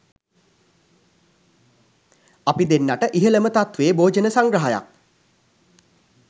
අපි දෙන්නාට ඉහළම තත්ත්වයේ භෝජන සංග්‍රහයක්